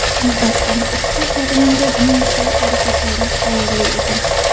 Albatta, ushbu jarayonda uning sa’y-harakatlari xayrli edi.